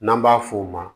N'an b'a f'o ma